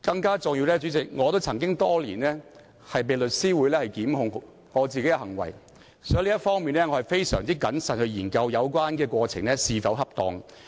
更重要的是，代理主席，在多年來我也曾被香港律師會檢控我的行為，所以我在這方面會非常謹慎地研究有關過程是否恰當。